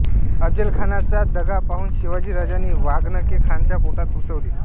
अफझलखानाचा दगा पाहून शिवाजीराजांनी वाघनखे खानाच्या पोटात घुसवली